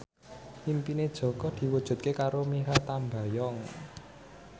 impine Jaka diwujudke karo Mikha Tambayong